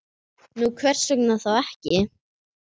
Nú, hvers vegna þá ekki?